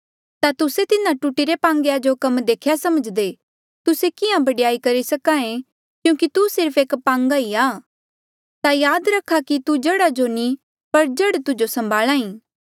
ता तुस्से तिन्हा टूटीरे पांगे जो कम देख्या समझ्दे तुस्से किहां बडयाई करी सके क्यूंकि तू सिर्फ एक पांगा ई आ ता याद रख्या कि तू जड़ा जो नी पर जड़ तुजो सम्भाल्हा ई